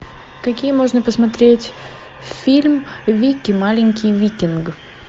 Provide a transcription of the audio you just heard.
какие можно посмотреть фильм вики маленький викинг